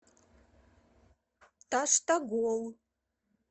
таштагол